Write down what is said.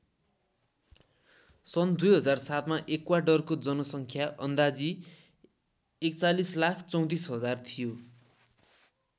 सन् २००७ मा एक्वाडोरको जनसङ्ख्या अन्दाजी ४१३४००० थियो।